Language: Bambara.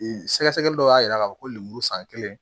Sɛgɛsɛgɛli dɔ y'a yira k'a fɔ ko lemuru san kelen